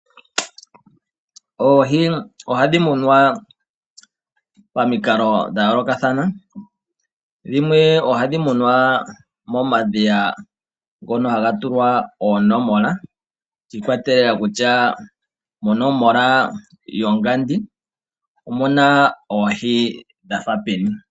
Oohi ohadhi munwa pomikalo dhayoolokathana, dhimwe ohadhi munwa momadhiya ngono haga tulwa oonomola shiikwatelela kutya monomola yongandi omuna oohi dhafa peni.